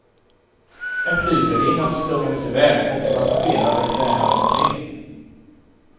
En flygvärdinna slungades i väg och passagerare krälade omkring.